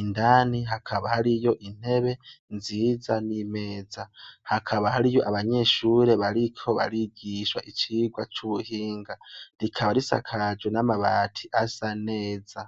Indani hakaba hariyo intebe nziza n'imeza. Hakaba hariyo abanyeshure bariko barigishwa icigwa c'ubuhinga. Rikaba risakajwe n'amabati asa neza.